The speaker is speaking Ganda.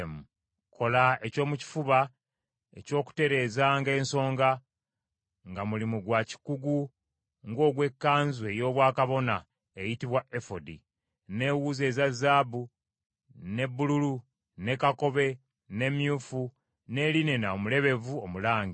“Kola ekyomukifuba eky’okutereezanga ensonga, nga mulimu gwa kikugu ng’ogw’ekkanzu ey’obwakabona eyitibwa efodi, n’ewuzi eza zaabu, ne bbululu, ne kakobe, ne myufu, ne linena omulebevu omulange.